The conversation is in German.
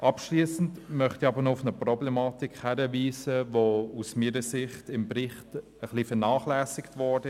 Abschliessend möchte ich noch auf eine Problematik hinweisen, die aus meiner Sicht im Bericht vernachlässigt wurde.